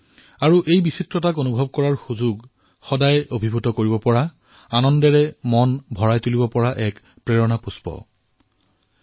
আৰু এই বৈচিত্ৰতাৰ অনুভৱে সদায়েই সকলোকে অভিভূত কৰি তোলে আনন্দ আৰু প্ৰেৰণাৰে ভৰাই তোলে